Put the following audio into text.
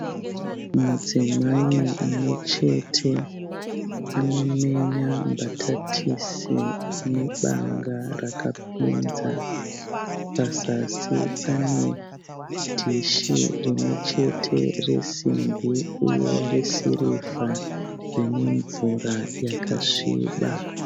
Mudzimai mumwe chete anomenya mbatatisi nebanga rakapinza. Pazasi pane dhishi rimwe chete resimbi uye resirivha rine mvura yakasviba.